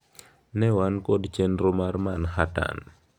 Ne wan kod chenro mar Manhattan."